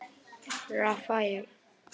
Rafael